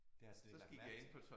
Det har jeg slet ikke lagt mærke til